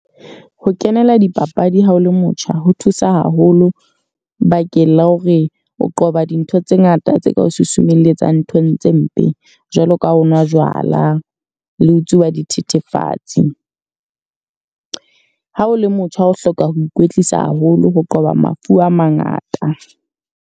Ho kenela dipapadi ha o le motjha ho thusa haholo. Bakeng la hore o qoba dintho tse ngata tse ka o susumelletsa nthong tse mpe. Jwalo ka ha o no nwa jwala, le tsuba dithethefatsi. Ha o le motjha o hloka ho ikwetlisa haholo ho qoba mafu a mangata.